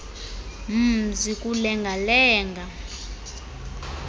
mzi kulenga lenga